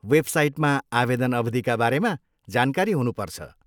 वेबसाइटमा आवेदन अवधिका बारेमा जानकारी हुनुपर्छ।